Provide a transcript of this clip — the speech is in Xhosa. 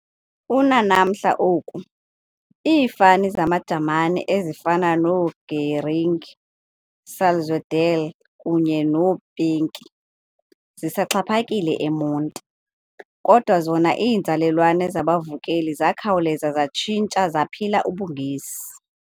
Unanamhla oku, iifani zamaJamani ezifana noo- Gehring, Salzwedel kunye noo-Peinke zisaxhaphakile eMonti, kodwa zona iinzalelwane zabavukeli zakhawuleza zatshintsha zaphila ubuNgesi.